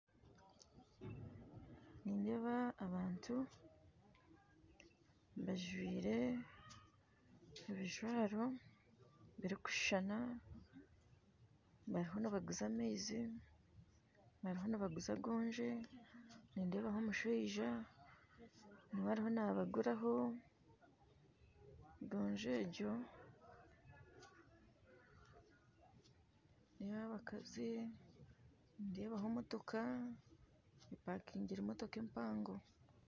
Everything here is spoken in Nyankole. Nindeeba abantu bajwire abijwaro birikushuushana bariyo nibaguza amaizi, nibaguza goonzye nindeebaho omushaija niwe ariyo nabaguraho goonzye egyo nindeeba abakazi nindeebaho emotooka empango empakingire